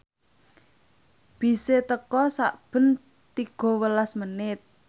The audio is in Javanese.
bise teka sakben tiga welas menit